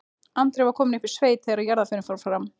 Andri var kominn upp í sveit þegar jarðarförin fór fram.